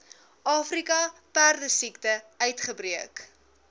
afrika perdesiekte uitgebreek